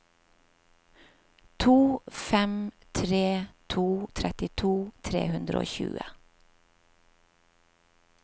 to fem tre to trettito tre hundre og tjue